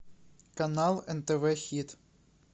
канал нтв хит